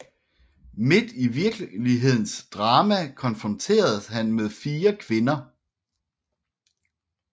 Midt i virkelighedens drama konfronteres han med fire kvinder